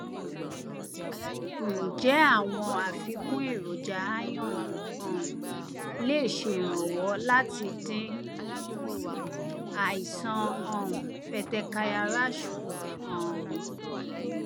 ǹjẹ àwọn àfikún èròjà iron um lè ṣèrànwọ láti dín àìsàn um petechial rash kù um